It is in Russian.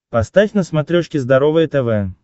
поставь на смотрешке здоровое тв